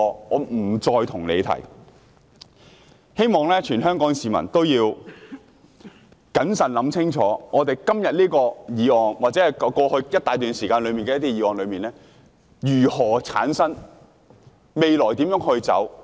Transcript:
我希望全港市民都謹慎思考，想清楚我們今天這項議案，以及過去一大段時間內的一些議案為何會出現，我們未來要如何走。